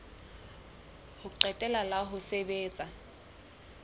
ho qetela la ho sebetsa